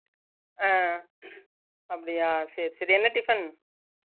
அஹ் அப்புடியசேரிசேரி என்ன tiffin